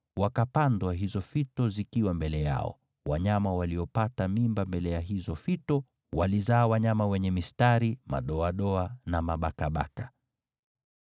wakapandwa hizo fito zikiwa mbele yao. Wanyama waliopata mimba mbele ya hizo fito walizaa wanyama wenye mistari, madoadoa na mabakabaka.